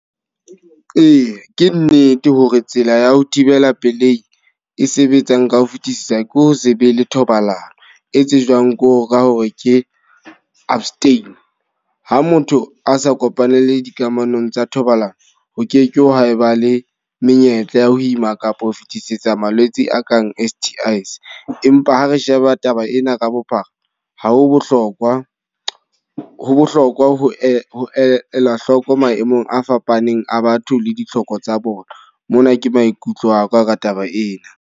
Ee, ke nnete hore tsela ya ho thibela pelehi e sebetsang ka ho fetisisa ke ho se be le thobalano, e tsejwang ko ka hore ke abstain. Ha motho a sa kopanele dikamanong tsa thobalano, ho ke ke ha eba le menyetla ya ho ima kapa ho fetisetsa malwetse a kang S_T_I-s. Empa ha re sheba taba ena ka bophara, ha ho bohlokwa, ho bohlokwa ho ela hloko maemong a fapaneng a batho le ditlhoko tsa bona. Mona ke maikutlo aka ka taba ena.